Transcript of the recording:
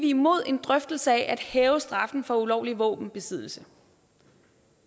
imod en drøftelse af at hæve straffen for ulovlig våbenbesiddelse